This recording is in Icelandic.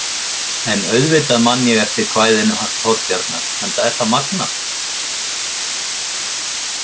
En auðvitað man ég eftir kvæðinu hans Þorbjarnar enda er það magnað.